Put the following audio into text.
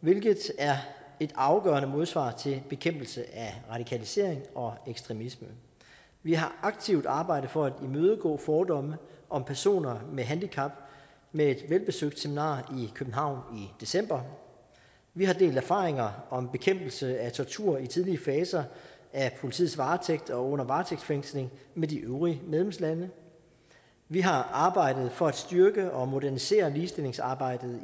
hvilket er et afgørende modsvar til bekæmpelse af radikalisering og ekstremisme vi har aktivt arbejdet for at imødegå fordomme om personer med handicap med et velbesøgt seminar i københavn i december vi har delt erfaringer om bekæmpelse af tortur i tidlige faser af politiets varetægt og under varetægtsfængsling med de øvrige medlemslande vi har arbejdet for at styrke og modernisere ligestillingsarbejdet